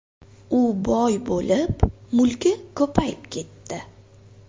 U boy bo‘lib, mulki ko‘payib ketdi”.